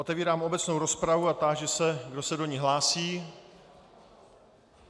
Otevírám obecnou rozpravu a táži se, kdo se do ní hlásí.